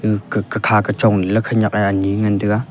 khe khekha kechong leley khenyak e anyi ngan taiga.